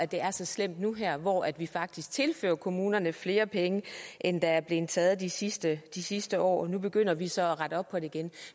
det er så slemt nu her hvor vi faktisk tilfører kommunerne flere penge end der er blevet taget de sidste de sidste år nu begynder vi så at rette op på det igen